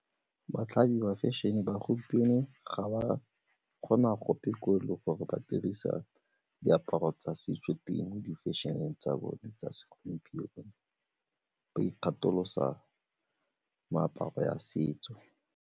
Batlhami ba fashion-e ba gompieno ga ba kgona gope gore le gore ba dirisa diaparo tsa setso di-fashion-e tsa bone tsa segompieno ba ikgatholosa meaparo ya setso.